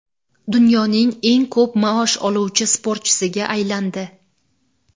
dunyoning eng ko‘p maosh oluvchi sportchisiga aylandi.